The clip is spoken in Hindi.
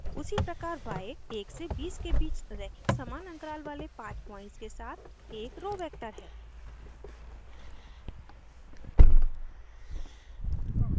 उसी प्रकार y 1 से 20 के बीच रैखिक समान अन्तराल वाले 5 पॉइंट्स के साथ एक रो row वेक्टर है